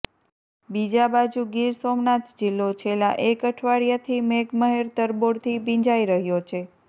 બીજા બાજુ ગીર સોમનાથ જીલ્લો છેલ્લા એક અઠવાડિયાથી મેઘ મહેર તરબોળથી ભીંજાઈ રહ્યો છે